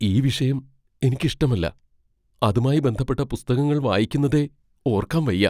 ഈ വിഷയം എനിക്ക് ഇഷ്ടമല്ല, അതുമായി ബന്ധപ്പെട്ട പുസ്തകങ്ങൾ വായിക്കുന്നതേ ഓർക്കാൻ വയ്യ.